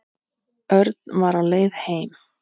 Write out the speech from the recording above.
Örn var á leið heim.